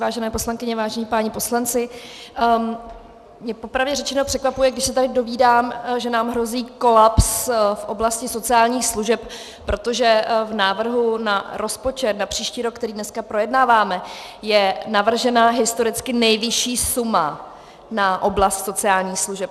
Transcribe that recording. Vážené poslankyně, vážení páni poslanci, mě popravdě řečeno překvapuje, když se tady dovídám, že nám hrozí kolaps v oblasti sociálních služeb, protože v návrhu na rozpočet na příští rok, který dneska projednáváme, je navržena historicky nejvyšší suma na oblast sociálních služeb.